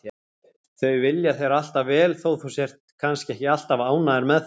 Þau vilja þér alltaf vel þó þú sért kannski ekki alltaf ánægður með þau.